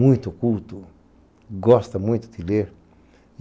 muito culto, gosta muito de ler.